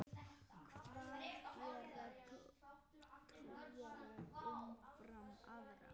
Hvað gera trúaðir umfram aðra?